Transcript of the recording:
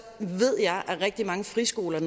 at rigtig mange friskoler